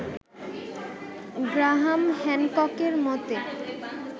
Graham হ্যানককের মতে